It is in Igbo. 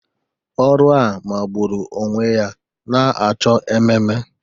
Ọrụ a magburu onwe ya na-achọ ememe